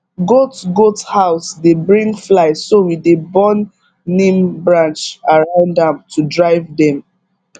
goat goat house dey bring fly so we dey burn neem branch around am to drive dem